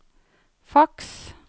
faks